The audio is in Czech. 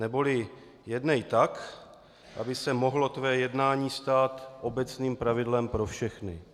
Neboli: Jednej tak, aby se mohlo tvé jednání stát obecným pravidlem pro všechny.